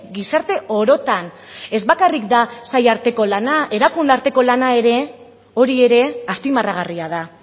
gizarte orotan ez bakarrik da sailen arteko lana erakundeen arteko lana ere hori ere azpimarragarria da